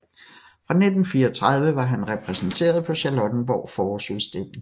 Fra 1934 var han repræsenteret på Charlottenborg Forårsudstilling